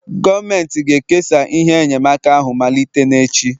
Gọọmenti ga-ekesa ihe enyemaka ahụ malite n'echi